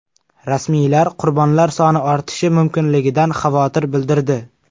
Rasmiylar qurbonlar soni ortishi mumkinligidan xavotir bildirdi.